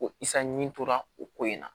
Ko isa ɲimi tora o ko in na